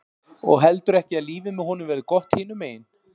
Og heldurðu ekki að lífið með honum verði gott hinum megin?